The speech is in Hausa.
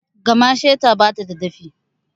Gamasheka bata da dafi